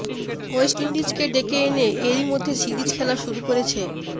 West ইন্ডিজকে ডেকে এনে এরই মধ্যে সিরিজ খেলা শুরু করেছে